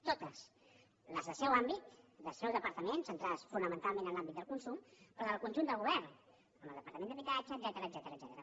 totes les del seu àmbit del seu departament centra·des fonamentalment en l’àmbit del consum però del conjunt del govern amb el departament d’habitatge etcètera